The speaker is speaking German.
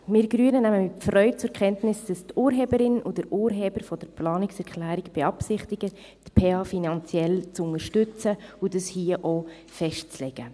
Wir Grünen nehmen mit Freude zur Kenntnis, dass die Urheberin und der Urheber der Planungserklärung beabsichtigen, die PH finanziell zu unterstützen und dies hier auch festzulegen.